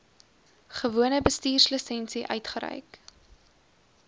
gewone bestuurslisensie uitgereik